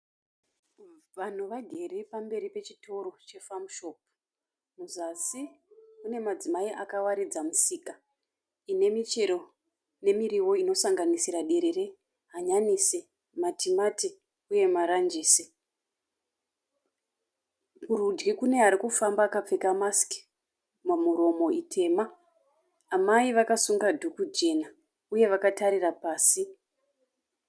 Vanhu vagere pamberi pechitoro cheFarmShop. Muzasi mune madzimai akawaridza misika inemichero nemiriwo inosanganisira derere, hanyanisi, matimati uye maranjisi. Kurudyi kune arikufamba akapfeka masiki pamuromo itema. Amai vakasunga dhuku jena uye vakatarira pasi.